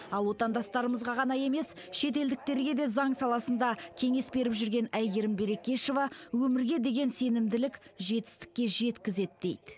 ал отандастарымызға ғана емес шетелдіктерге де заң саласында кеңес беріп жүрген әйгерім берекешова өмірге деген сенімділік жетістікке жеткізеді дейді